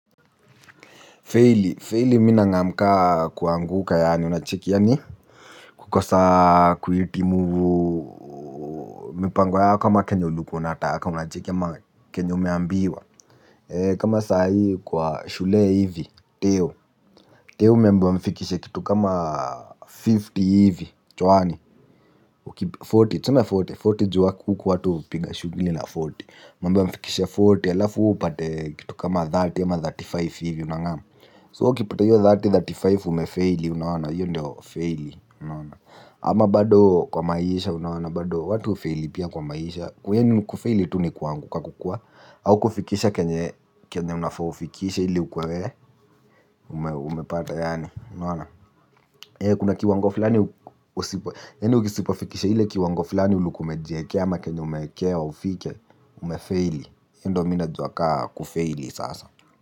Feili, feili mi nangam ka kuanguka yaani unacheki yaani kukosa kuhitimu mipango yako ama kenye ulikuwa unataka unacheki ama kenye umeambiwa. Kama saa hii kwa shule hivi, teo Teo umeambiwa mfikishe kitu kama hamsini hivi, chwani arobaini, tuseme arobaini, arobaini jua huku watu hupiga shugili na arobaini. Mmeambiwa mfikishe arobaini, halafu upate kitu kama thelathini ama thelathini na tano hivi unangam So ukipata hiyo elfu tatu na thelathini na tano umefeili, unaona, hiyo ndio feili, unaona. Ama bado kwa maisha unona, bado watu hufeli pia kwa maisha. Kwenyu ni kufeli tu ni kuanguka kukuwa, au kufikisha kenye unafaa ufikishe ili ukuwe, umepata yani, unaona. Kuna kiwango fulani usipo, yani usisipo fikisha ile kiwango fulani ulikuwa umejiwekea ama kenye umewekewa ufike, umefeili. Hiyo ndo mi najua ka kufeili sasa.